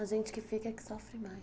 A gente que fica é que sofre